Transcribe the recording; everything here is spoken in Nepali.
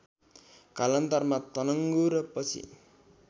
कालान्तरमा तनङ्गु र पछि